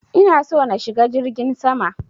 Ina so na shiga jirgin sama.